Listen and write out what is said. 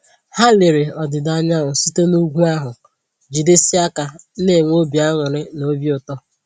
Ha lere ọdịda anyanwụ site na úgwú ahụ, jidesie aka na enwe obi añụrị na obi ụtọ